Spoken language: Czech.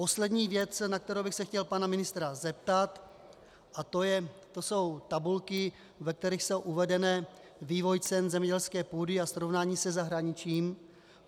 Poslední věc, na kterou bych se chtěl pana ministra zeptat, a to jsou tabulky, ve kterých je uvedený vývoj cen zemědělské půdy a srovnání se zahraničním.